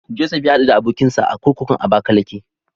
Josef ya haɗu da abokinsa a kurkukun Abakalake.